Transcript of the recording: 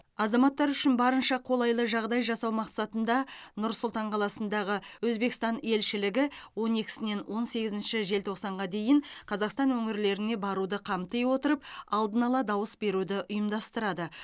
азаматтар үшін барынша қолайлы жағдай жасау мақсатында нұр сұлтан қаласындағы өзбекстан елшілігі он екісінен он сегізінші желтоқсанға дейін қазақстан өңірлеріне баруды қамти отырып алдын ала дауыс беруді ұйымдастырады